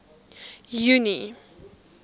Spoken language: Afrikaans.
junie